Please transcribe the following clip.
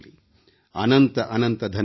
ಅನಂತ ಅನಂತ ಧನ್ಯವಾದಗಳು